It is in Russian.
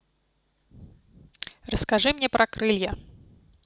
расскажи мне про крылья